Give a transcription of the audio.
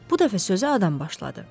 Bu dəfə sözə adam başladı.